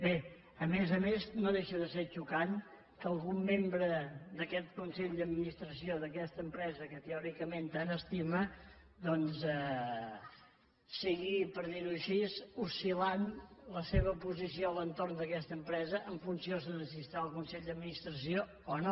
bé a més a més no deixa de ser xocant que algun membre d’aquest consell d’administració d’aquesta empresa que teòricament que tant estima doncs sigui per dir ho així oscil·lant la seva posició a l’entorn d’aquesta empresa en funció de si està al consell d’administració o no